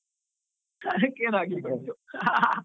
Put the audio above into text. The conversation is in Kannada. ಅದಕ್ಕೆನು ಆಗಲಿಕ್ಕುಂಟು .